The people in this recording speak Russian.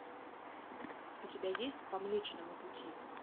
у тебя есть по млечному пути